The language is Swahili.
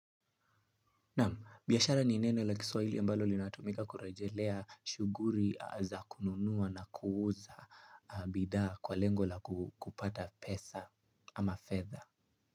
Naam, biashara ni neno la kiswahili ambalo linatumika kurejelea shuguri za kununuwa na kuuza bidhaa kwa lengo la kupata pesa ama fedha.